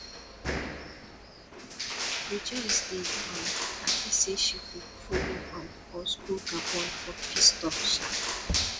rejoice dey um happy say she go follow um us go gabon for peace talk um